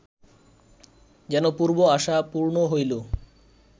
যেন পূর্ব আশা পূর্ণ হইল